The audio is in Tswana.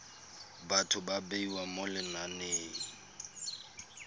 batho ba bewa mo lenaneng